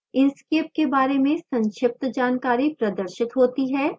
inkscape के बारे में संक्षिप्त जानकारी प्रदर्शित होती है